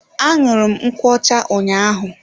Aṅụru m nkwocha ụnyaahụ.